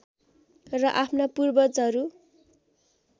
र आफ्ना पूर्वजहरू